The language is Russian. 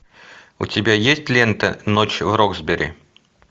у тебя есть лента ночь в роксбери